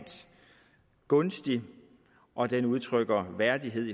gunstig og den udtrykker værdighed